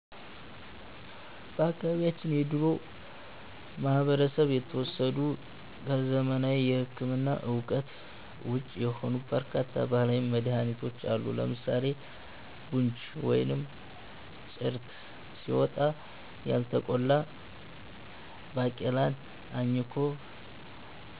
በአካባቢያችን ከድሮው ማህበረሰብ የተወሰዱ፣ ከዘመናዊ ሕክምና እውቀት ውጪ የሆኑ በርካታ ባህላዊ መድኃኒቶች አሉ። ለምሳሌ 'ቡንጅ' (ወይም ጭርት) ሲወጣ፣ ያልተቆላ ባቄላን አኝኮ